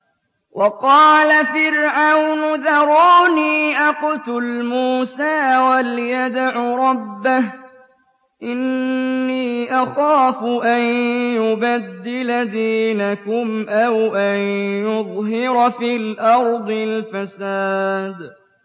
وَقَالَ فِرْعَوْنُ ذَرُونِي أَقْتُلْ مُوسَىٰ وَلْيَدْعُ رَبَّهُ ۖ إِنِّي أَخَافُ أَن يُبَدِّلَ دِينَكُمْ أَوْ أَن يُظْهِرَ فِي الْأَرْضِ الْفَسَادَ